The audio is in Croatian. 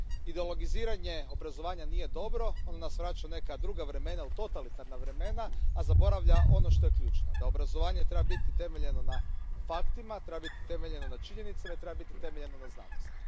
Ideologiziranje obrazovanja nije dobro, ono nas vraća u neka druga vremena, u totalitarna vremena, a zaboravlja ono što je ključno, da obrazovanje treba biti utemeljeno na faktima, treba biti utemeljeno na činjenicama i treba biti utemeljeno na znanosti.